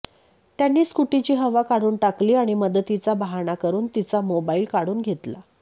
त्यांनी स्कूटीची हवा काढून टाकली आणि मदतीचा बहाणा करून तिचा मोबाईल काढून घेतला